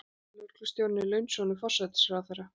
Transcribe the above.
Lögreglustjórinn er launsonur forsætisráðherra.